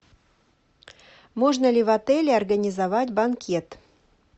можно ли в отеле организовать банкет